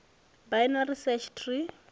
binary search tree